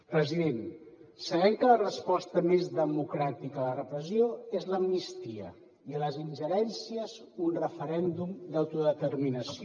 president sabem que la resposta més democràtica a la repressió és l’amnistia i a les ingerències un referèndum d’autodeterminació